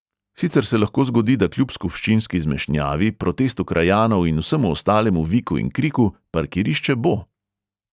Sicer se lahko zgodi, da kljub skupščinski zmešnjavi, protestu krajanov in vsemu ostalemu viku in kriku parkirišče bo!